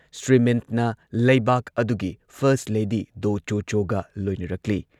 ꯁ꯭ꯔꯤ ꯃꯤꯟꯠꯅ ꯂꯩꯕꯥꯛ ꯑꯗꯨꯒꯤ ꯐꯔꯁꯠ ꯂꯦꯗꯤ ꯗꯣ ꯆꯣ ꯆꯣꯒ ꯂꯣꯏꯅꯔꯛꯂꯤ ꯫